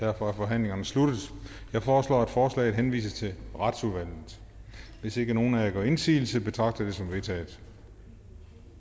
er forhandlingen sluttet jeg foreslår at forslaget henvises til retsudvalget hvis ikke nogen af jer gør indsigelse betragter jeg det som vedtaget